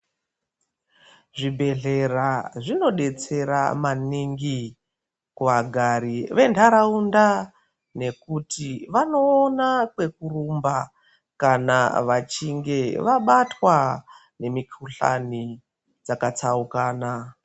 Zvibhedhlera zvinobetsera maningi kuvagari ventaraunda. Nekuti vanoona kwekurumba kana vachinge vabatwa nemikuhlani dzakatsaukana.